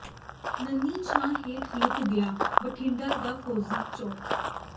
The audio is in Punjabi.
ਨੰਨ੍ਹੀ ਛਾਂ ਹੇਠ ਲੁਕ ਗਿਆ ਬਠਿੰਡਾ ਦਾ ਫ਼ੌਜੀ ਚੌਕ